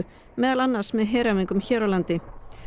meðal annars með heræfingum hér á landi